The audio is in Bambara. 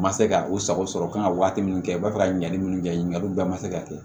Ma se ka u sago sɔrɔ u ka kan ka waati min kɛ u b'a fɛ ka ɲininkali mun kɛ ɲininkaliw bɛɛ ma se ka kɛ